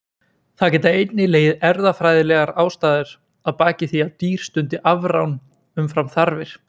Það geta einnig legið erfðafræðilegar ástæður að baki því að dýr stundi afrán umfram þarfir.